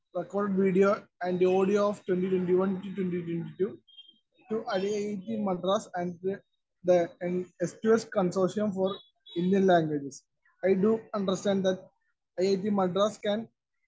Speaker 1 record video and audio 2021-22 to IIT Madras and the സ്‌2സ്‌ consortium for Indian languages. I do understand that IIT Madras can